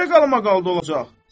Necə qalmaqalda olacaq?